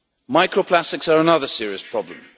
Micro plastics are another serious problem.